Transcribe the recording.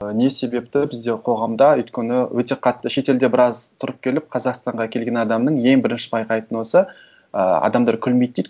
ы не себепті бізде қоғамда өйткені өте қатты шетелде біраз тұрып келіп қазақстанға келген адамның ең бірінші байқайтыны осы ііі адамдар күлмейді дейді